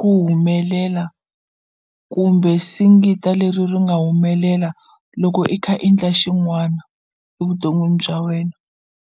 ku humelela kumbe singita leri ri nga humelela loko i kha i ndla xin'wana evuton'wini bya wena.